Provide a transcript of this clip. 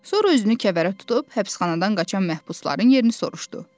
Sonra özünü kəvərə tutub həbsxanadan qaçan məhbusların yerini soruşdu.